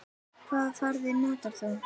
Hvaða farða notar þú?